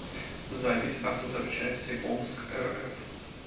запись автозапчастиомскрф